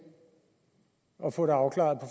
og få det afklaret